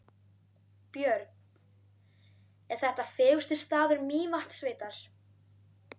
Björn: Er þetta fegursti staður Mývatnssveitar?